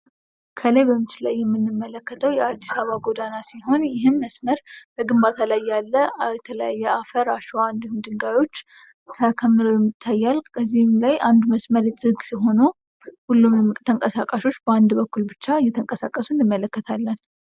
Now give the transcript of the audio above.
ከላይ በምስሉ ላይ የምንመለከተው የአዲስ አበባ ጎዳና ሲሆን ይህም መስመር በግንባታ ላይ ያለ የተለያየ አፈር አሸዋ እንዲሁም ድንጋዮች ተከምረው ይታያል ።በዚህም ላይ አንዱ መስመር ዝግ ሆኖ ሁሉም ተንቀሳቃሾች በአንድ በኩል ብቻ ሲንቀሳቀሱ እንመለከታለን።